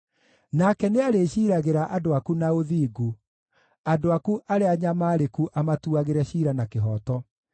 Nake nĩarĩciiragĩra andũ aku na ũthingu, andũ aku arĩa anyamaarĩku amatuagĩre ciira na kĩhooto.